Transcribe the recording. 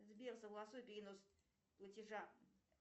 сбер согласуй перенос платежа